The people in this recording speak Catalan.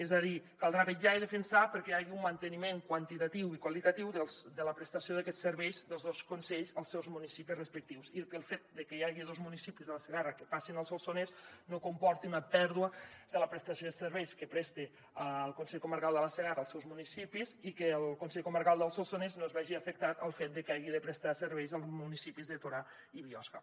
és a dir caldrà vetllar i defensar perquè hi hagi un manteniment quantitatiu i qualitatiu de la prestació d’aquests serveis dels dos consells als seus municipis respectius i que el fet que hi hagi dos municipis de la segarra que passin al solsonès no comporti una pèrdua de la prestació de serveis que presta el consell comarcal de la segarra als seus municipis i que el consell comarcal del solsonès no es vegi afectat pel fet de que hagi de prestar serveis als municipis de torà i biosca